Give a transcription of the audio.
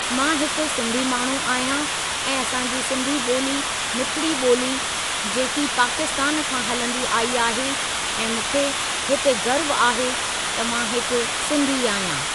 मां हिकु सिन्धी माण्हू आहियां ऐं असां जी सिंधी ॿोली मिठड़ी ॿोली जेकी पाकिस्तान खां हलंदी आई आहे ऐं मूंखे हिते गर्व आहे त मां हिकु सिंधी आहियां।